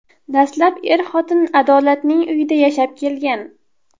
Dastlab er-xotin Adolatning uyida yashab kelgan.